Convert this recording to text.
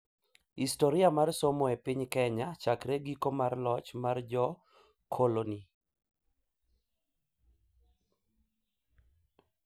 Historia mar somo e piny Kenya chakre giko mar loch mar jo-koloni,